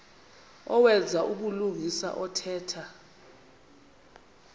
owenza ubulungisa othetha